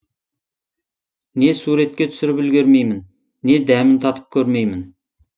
не суретке түсіріп үлгермеймін не дәмін татып көрмеймін